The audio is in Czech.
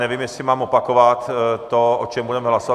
Nevím, jestli mám opakovat to, o čem budeme hlasovat.